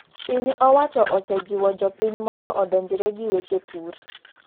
Piny owacho ose jiwo jopiny mondo odonjre gi weche pur.